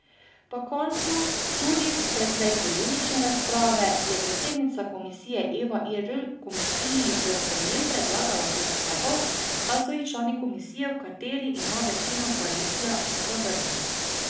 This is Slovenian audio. Po koncu, tudi precej polemične razprave, je predsednica komisije Eva Irgl komisiji v sprejem predlagala pet sklepov, a so jih člani komisije, v kateri ima večino koalicija, zavrnili.